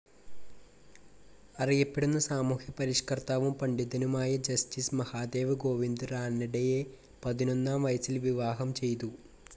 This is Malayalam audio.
അറിയപ്പെടുന്ന സാമൂഹ്യ പരിഷ്കർത്താവും പണ്ഡിതനുമായ ജസ്റ്റിസ്‌ മഹാദേവ് ഗോവിന്ദ് റാനഡെയെ പതിനൊന്നാം വയസ്സിൽ വിവാഹം ചെയ്തു.